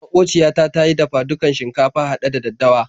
Maƙociya ta ta yi dafa-dukan shinkafa haɗe da daddawa.